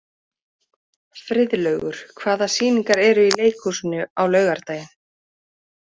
Friðlaugur, hvaða sýningar eru í leikhúsinu á laugardaginn?